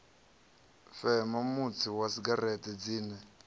fema mutsi wa segereṱe dzine